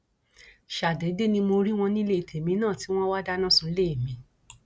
ṣàdédé ni mo rí wọn nílé tèmi náà tí wọn wáá dáná sunlé mi